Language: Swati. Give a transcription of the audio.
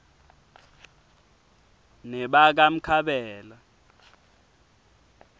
nebakamkhabela